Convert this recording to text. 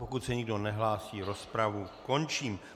Pokud se nikdo nehlásí, rozpravu končím.